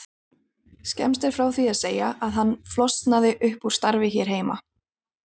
Skemmst er frá því að segja að hann flosnaði upp úr starfi hér heima.